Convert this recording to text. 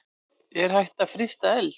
Er hægt að frysta eld?